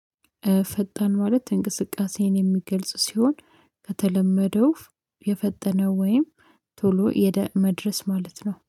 ፈጣን ማለት እንቅስቃሴን የሚገልጽ ሲሆን ከተለመደው የፈጠነ ወይም ቶሎ የደመድረስ ማለት ነው